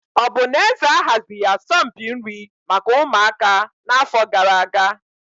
Ọ bụ na eze ahazighị asọmpi nri maka ụmụaka n'afọ gara aga?